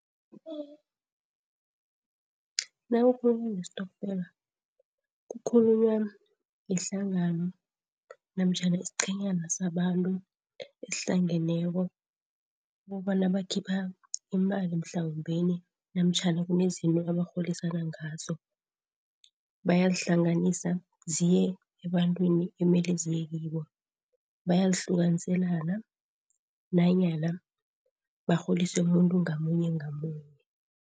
Nakukhulunywa ngestokfela kukhulunywa ngehlangano namtjhana isiqhenyana sabantu esihlangeneko ukobana bakhipha imali mhlawumbeni namtjhana kunezinto abarholisana ngazo, bayazihlanganisa ziye ebantwini ekumele eziye kibo. Bayihlukaniselana nanyana barholise umuntu ngamunye ngamunye.